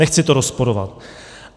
Nechci to rozporovat.